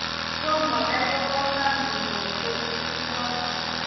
Tomo kai kokosani Kim konyo tetutik choton